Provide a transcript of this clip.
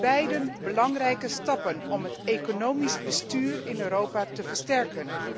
Beide zijn belangrijke stappen om het economisch bestuur in Europa te versterken.